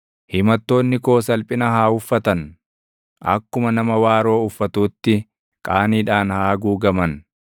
Himattoonni koo salphina haa uffatan; akkuma nama waaroo uffatuutti qaaniidhaan haa haguugaman.